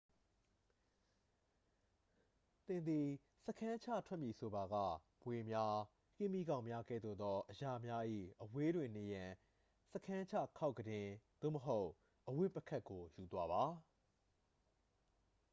သင်သည် စခန်းချထွက်မည်ဆိုပါက မြွေများ ကင်းမြီးကောက်များ ကဲ့သို့သောအရာများ၏ အဝေးတွင်နေရန် စခန်းချခေါက်ကုတင် သို့မဟုတ် အဝတ်ပုခက်ကို ယူသွားပါ